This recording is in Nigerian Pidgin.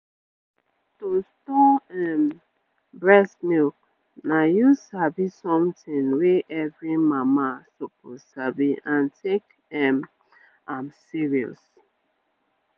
to store um breast milk na you sabi something wey every mama suppose sabi and take um am serious